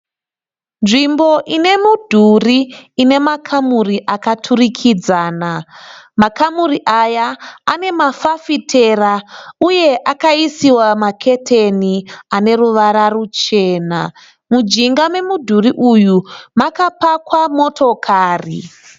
Nzvimbo ine mudhuri ine makamuri akaturikidzana makamuri aya ane mafafitera uye akaisiwa maketeni ane ruwara ruchena. Mujinga memudhuri uyu makapakwa motokari.